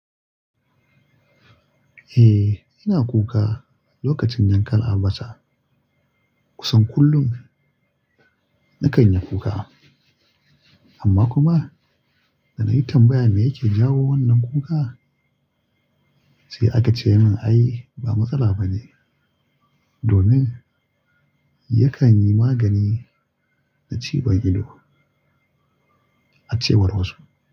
Eh, ina kuka lokacin yankan albasa. Kusan kullum na kan yi kuka. Amma kuma da na yi tambaya me yake jawo wannan kuka, sai aka ce min ai ba matsala ba ne domin yakan yi magani na ciwon ido a cewar wasu.